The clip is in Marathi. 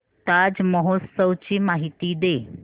ताज महोत्सव ची माहिती दे